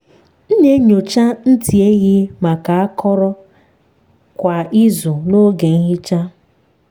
m na-enyocha ntị ehi maka akọrọ kwa izu n’oge nhicha.